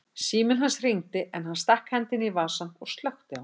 Síminn hans hringdi en hann stakk hendinni í vasann og slökkti á honum.